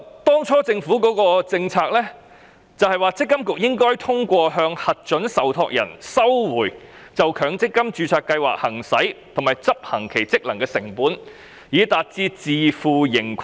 當初政府的政策，是積金局應通過向核准受託人收回就強積金註冊計劃行使及執行其職能的成本，達到自負盈虧。